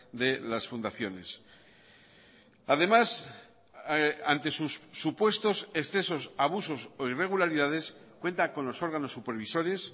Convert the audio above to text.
de las fundaciones además ante sus supuestos excesos abusos o irregularidades cuenta con los órganos supervisores